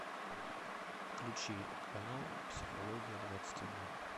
включи канал психология двадцать один